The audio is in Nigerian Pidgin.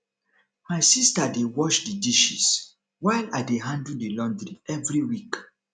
my sister dey wash the dishes while i dey handle the laundry every week